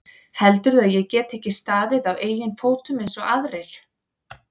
Heldurðu að ég geti ekki staðið á eigin fótum eins og aðrir?